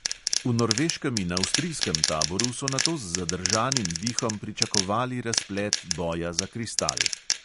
V norveškem in avstrijskem taboru so nato z zadržanim dihom pričakovali razplet boja za kristal.